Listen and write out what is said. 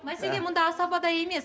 мәселе мұнда асабада емес